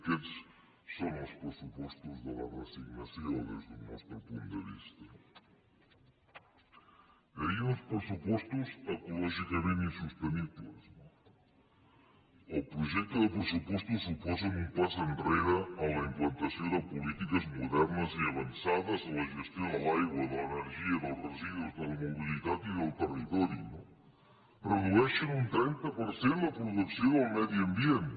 aquests són els pressupostos de la resignació des del nostre punt de vista no dèiem uns pressupostos ecològicament insostenibles no el projecte de pressupostos suposa un pas enrere en la implantació de polítiques modernes i avançades en la gestió de l’aigua de l’energia dels residus de la mobilitat i del territori no redueixen un trenta per cent la producció del medi ambient